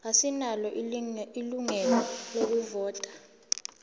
asinalo ilungelo lokuvota